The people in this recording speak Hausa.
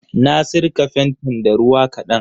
Na sirka fentin da ruwa ƙadan.